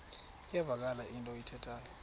iyavakala into ayithethayo